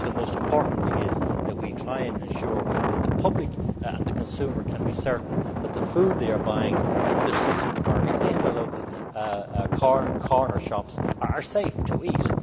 The most important thing is that we try and ensure that the public and the consumer can be certain that the food they are buying in the supermarkets, in their local corner shops is safe to eat.